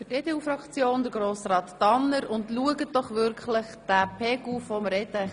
Bitte schrauben Sie den Lärmpegel herunter.